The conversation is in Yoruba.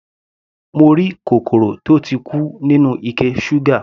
Mo rí kòkòrò tó ti kú nínú ike ṣúgà.